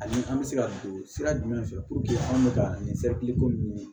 Ani an bɛ se ka don sira jumɛn fɛ anw bɛ ka nin ko nin ɲini